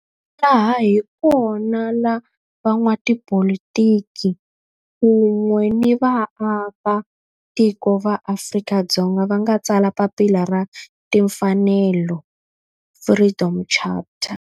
Laha hi kona la van'watipolitiki kun'we ni vaaka tiko va Afrika-Dzonga va nga tsala papila ra timfanelo, Freedom Charter.